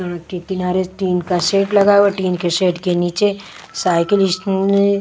के किनारे टीन का शेड लगा हुआ है टीन के शेड के नीचे साइकिल इस --